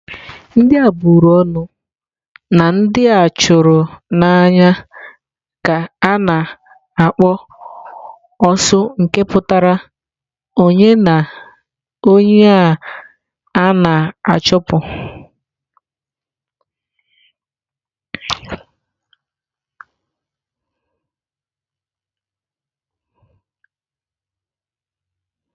Ndị a bụrụ ọnụ na ndị a chụrụ n'anya ka a na-akpọ "osu nke pụtara onye a na-achụpụ.